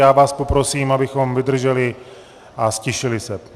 Já vás poprosím, abychom vydrželi a ztišili se.